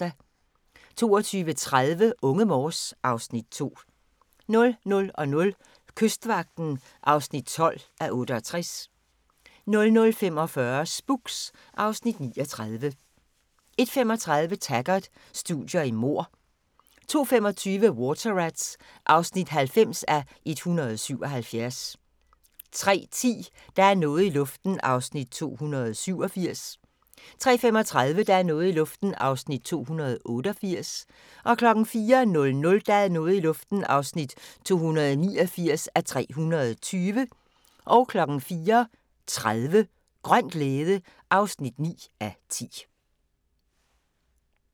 22:30: Unge Morse (Afs. 2) 00:00: Kystvagten (12:68) 00:45: Spooks (Afs. 39) 01:35: Taggart: Studier i mord 02:25: Water Rats (90:177) 03:10: Der er noget i luften (287:320) 03:35: Der er noget i luften (288:320) 04:00: Der er noget i luften (289:320) 04:30: Grøn glæde (9:10)